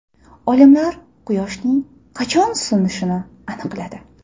Olimlar Quyoshning qachon so‘nishini aniqladi.